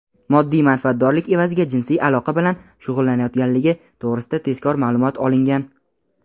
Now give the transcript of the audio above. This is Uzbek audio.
moddiy manfaatdorlik evaziga jinsiy aloqa bilan shug‘ullanayotganligi to‘g‘risida tezkor ma’lumot olingan.